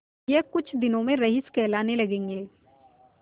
यह कुछ दिनों में रईस कहलाने लगेंगे